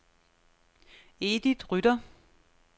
Edith Rytter